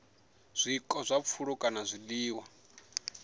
zwiko zwa pfulo kana zwiḽiwa